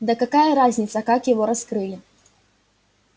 да какая разница как его раскрыли